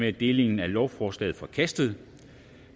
er delingen af lovforslaget forkastet